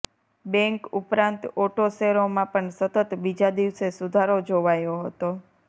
bank ઉપરાંત auto શેરોમાં પણ સતત બીજા દિવસે સુધારો જોવાયો હતો